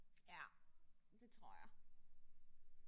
Ja. Det tror jeg